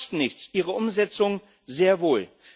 Ideen kosten nichts, ihre Umsetzung sehr wohl!